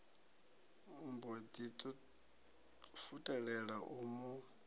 mbo ḓi futelela u mu